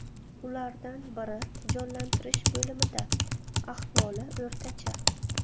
Ulardan biri jonlantirish bo‘limida, ahvoli o‘rtacha.